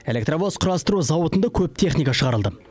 электровоз құрастыру зауытында көп техника шығарылды